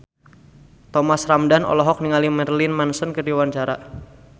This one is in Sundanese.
Thomas Ramdhan olohok ningali Marilyn Manson keur diwawancara